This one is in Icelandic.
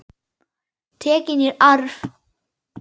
Tekin í arf.